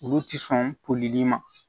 Olu ti sɔn koli ma